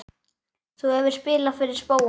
Þú hefur spilað fyrir spóann?